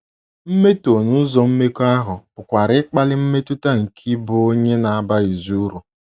Mmetọ n’ụzọ mmekọahụ pụkwara ịkpali mmetụta nke ịbụ onye na - abaghịzi uru.